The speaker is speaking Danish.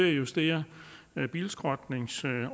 at justere bilskrotningsordningen